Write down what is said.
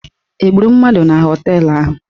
Egburu mmadụ na họteelụ ahụ?